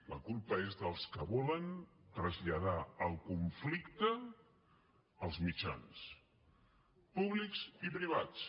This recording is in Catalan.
la culpa és dels que volen traslladar el conflicte als mitjans públics i privats